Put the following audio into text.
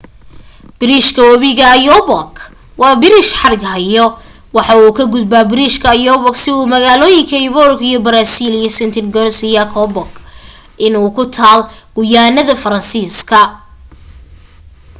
biriishka webiga oyapock waa biriish xarig hayo waxa uu ka gudbaa biriishka oyapock si uu magaalooyinka oiapogue ugu baraasiil iyo saint-georges de l'oyapock in ee ku taal guyaanada faransiiska